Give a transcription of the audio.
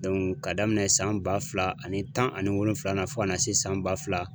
ka daminɛ san ba fila ani tan ani wolonwula fo ka na se san ba fila